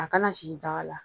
A kana sisi daga la